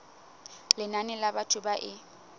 lenane la batho ba e